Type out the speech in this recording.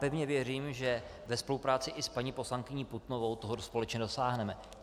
Pevně věřím, že ve spolupráci i s paní poslankyní Putnovou toho společně dosáhneme.